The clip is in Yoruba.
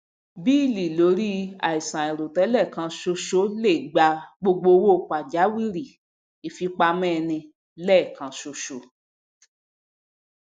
bíílì lórí àìsàn àìrò tẹlẹ kan ṣoṣo lè gba gbogbo owó pàjáwìrì ìfipamọ ẹni lẹẹkan ṣoṣo